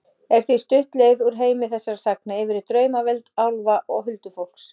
Er því stutt leið úr heimi þessara sagna yfir í draumaveröld álfa og huldufólks.